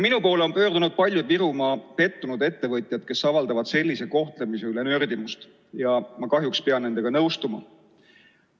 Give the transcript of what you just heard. Minu poole on pöördunud paljud pettunud Virumaa ettevõtjad, kes avaldavad sellise kohtlemise üle nördimust, ja ma kahjuks pean nendega nõustuma.